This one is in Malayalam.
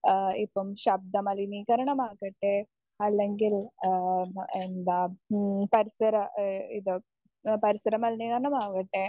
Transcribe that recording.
സ്പീക്കർ 1 ഏഹ് ഇപ്പം ശബ്ദമലിനീകരണമാകട്ടെ അല്ലെങ്കിൽ ഏഹ് എന്താ മ്മ് പരിസര ഇതോ പരിസര മലിനീകരണമാകട്ടെ